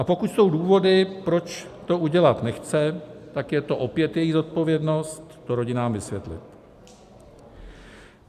A pokud jsou důvody, proč to udělat nechce, tak je to opět její zodpovědnost to rodinám vysvětlit.